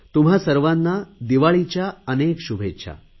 तुम्हा सर्वांना दिवाळीच्या अनेक शुभेच्छा